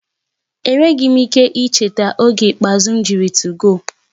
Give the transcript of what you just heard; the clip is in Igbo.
Enweghị m ike icheta oge ikpeazụ m jiri 2go